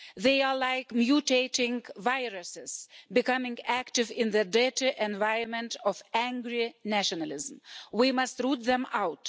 They are like mutating viruses, becoming active in the dirty environment of angry nationalism. We must root them out.